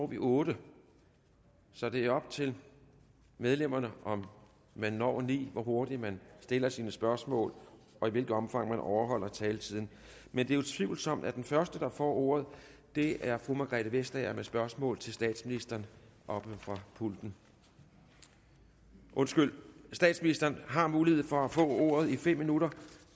vi otte så det er op til medlemmerne om vi når de ni hvor hurtigt man stiller sine spørgsmål og i hvilket omfang man overholder taletiden men det er utvivlsomt at den første der får ordet er fru margrethe vestager med spørgsmål til statsministeren oppe fra pulten undskyld statsministeren har mulighed for at få ordet i fem minutter